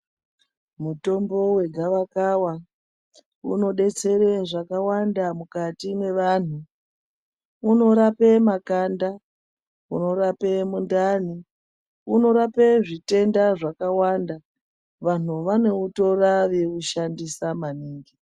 Mutombo wegawa kawa unodetsere zvakawanda mukati mwevanhu unorape makanda unorape mundani unorape zvitenda zvakawanda vanhu vanoutora veiushandisa maningi.